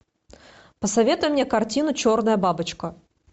посоветуй мне картину черная бабочка